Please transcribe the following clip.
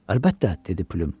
Əlbəttə, dedi Plüm.